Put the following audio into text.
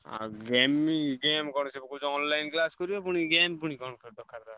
ଆଉ gaming game କଣ ସିଏ ବା କହୁଚି online class କରିବ ପୁଣି game ପୁଣି କଣ କଥାବାର୍ତ୍ତା।